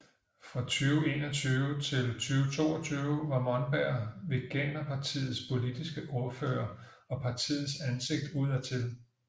Fra 2021 til 2022 var Monberg veganerpartiets politiske ordfører og partiets ansigt udadtil